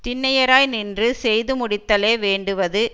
திண்ணியராய் நின்று செய்து முடித்தலே வேண்டுவது